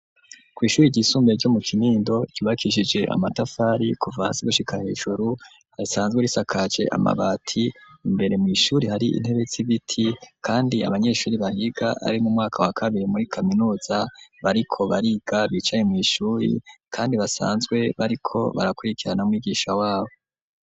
Kw'ishuri ryisumbuye ryo mu Kinindo ryubakishije amatafari kuva hasi gushika hejuru risanzwe risakajwe amabati imbere mw'ishuri hari intebe z'ibiti kandi abanyeshuri bahiga ari mu umwaka wa kabiri muri kaminuza bariko bariga bicaye mw'ishuri kandi basanzwe bariko barakurikirana umwigisha wabo.